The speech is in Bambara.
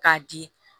K'a di